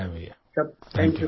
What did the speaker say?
बहुत शुभकामनाएं भैया